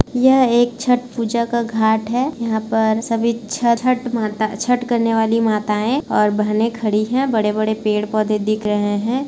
यह एक छठ पूजा का घाट है यहाँ पर सभी छठ करने वाली माताएं और बहने खड़ी हैं बड़े-बड़े पेड़-पौधे दिख रहे हैं।